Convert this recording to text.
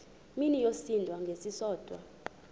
mini yosinda ngesisodwa